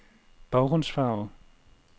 baggrundsfarve